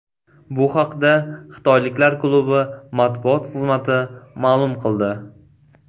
Bu haqda xitoyliklar klubi matbuot xizmati ma’lum qildi .